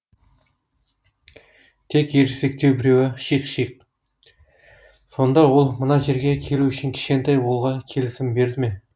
тек ересектеу біреуі шиқ шиқ сонда ол мына жерге келу үшін кішкентай болуға келісімін берді ме